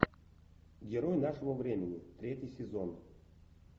герой нашего времени третий сезон